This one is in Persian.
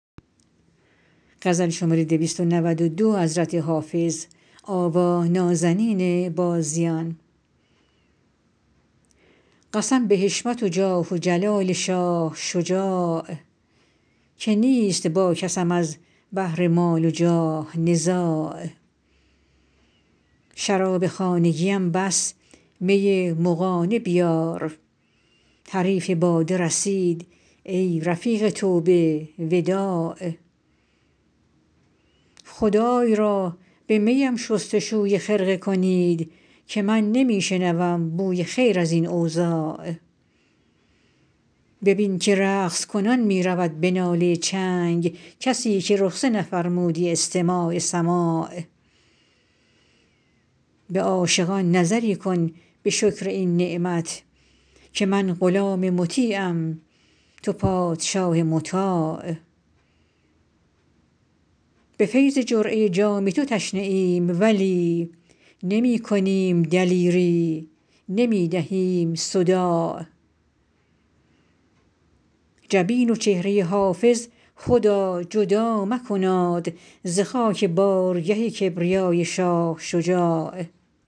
قسم به حشمت و جاه و جلال شاه شجاع که نیست با کسم از بهر مال و جاه نزاع شراب خانگیم بس می مغانه بیار حریف باده رسید ای رفیق توبه وداع خدای را به می ام شست و شوی خرقه کنید که من نمی شنوم بوی خیر از این اوضاع ببین که رقص کنان می رود به ناله چنگ کسی که رخصه نفرمودی استماع سماع به عاشقان نظری کن به شکر این نعمت که من غلام مطیعم تو پادشاه مطاع به فیض جرعه جام تو تشنه ایم ولی نمی کنیم دلیری نمی دهیم صداع جبین و چهره حافظ خدا جدا مکناد ز خاک بارگه کبریای شاه شجاع